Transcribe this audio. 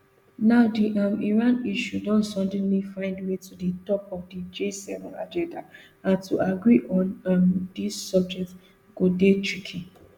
now di um iran issue don suddenly find way to di top of di gseven agenda and to agree on um dis subject go dey tricky